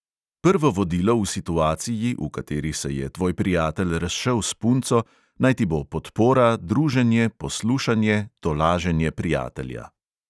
Prvo vodilo v situaciji, v kateri se je tvoj prijatelj razšel s punco, naj ti bo podpora, druženje, poslušanje, tolaženje prijatelja.